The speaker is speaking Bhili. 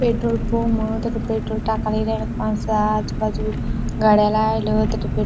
पेट्रोल पम तथ पेट्रोल टाका नी रय आजु बाजु गाड्या लायेल तिथं पेट्रोल --